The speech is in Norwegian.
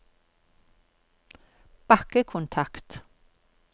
bakkekontakt